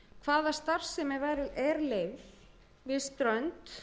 hvaða starfsemi er leyfð við strönd